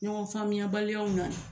Ɲɔgɔn faamuyabaliyaw na